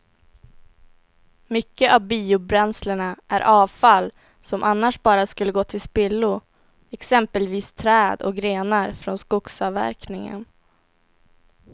Mycket av biobränslena är avfall som annars bara skulle gå till spillo, exempelvis träd och grenar från skogsavverkningen.